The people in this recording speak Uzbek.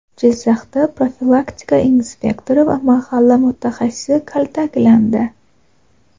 Jizzaxda profilaktika inspektori va mahalla mutaxassisi kaltaklandi.